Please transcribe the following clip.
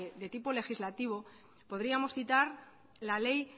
de tipo legislativo podríamos citar la ley